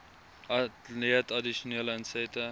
ontleed addisionele insette